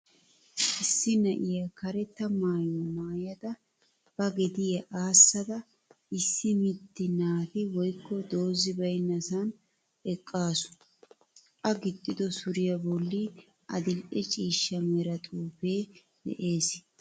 Iissi na'iya karetta maayuwa maayada ba gediya aassada issi mitti naati woykko doozzi baynnasan eqqaasu. A gixxido suriya bolli adil'e cishcha mera xuufee de'es.